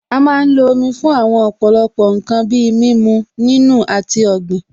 A má ń lo Omi fún àwọn ọ̀pọ̀lọpọ̀ ǹkan bíi mímu, nínù, àti ọ̀gbìn